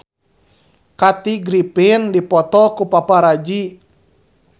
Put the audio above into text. Kathy Griffin dipoto ku paparazi